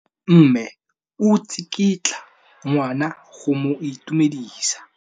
Mme o tsikitla ngwana go mo itumedisa.